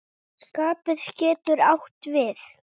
Spaði getur átt við